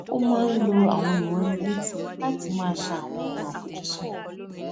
ó máa ń lo àwọn ìránnilétí láti màa ṣe àwọn ohun àfojúsùn ré